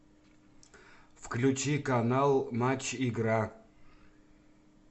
включи канал матч игра